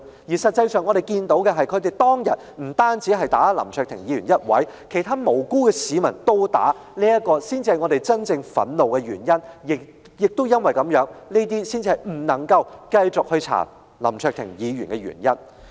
事實上，我們所看到的，是他們當天不止毆打林卓廷議員一人，連其他無辜市民也被毆打，這才是教我們真正感到憤怒的原因，亦是我們認為不能繼續調查林卓廷議員的原因。